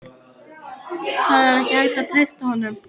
Það er ekki hægt að treysta honum.